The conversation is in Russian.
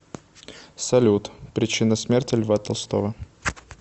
салют причина смерти льва толстого